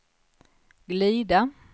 glida